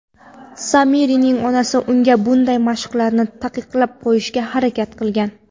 Samirning onasi unga bunday mashqlarni taqiqlab qo‘yishga harakat qilgan.